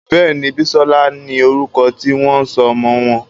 Béèni Bisola ní orúko tí wón sọ ọmọ wón.